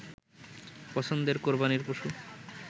পছন্দের কোরবানীর পশু